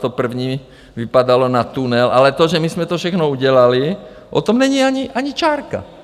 To první vypadalo na tunel, ale to, že my jsme to všechno udělali, o tom není ani čárka.